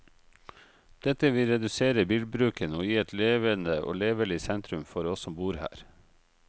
Dette vil redusere bilbruken, og gi et levende og levelig sentrum for oss som bor her.